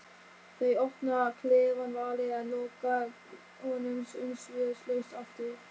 Þeir opna klefann varlega en loka honum umsvifalaust aftur.